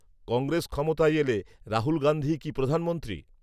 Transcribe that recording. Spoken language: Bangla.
কংগ্রেস ক্ষমতায় এলে রাহুল গান্ধীই কি প্রধানমন্ত্রী